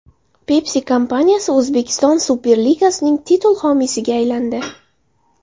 Pepsi kompaniyasi O‘zbekiston Superligasining titul homiysiga aylandi.